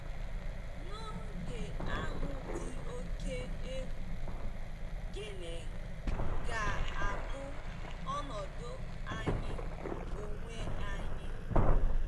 N'oge ahụ dị oké egwu, gịnị ga-abụ ọnọdụ anyị onwe anyị?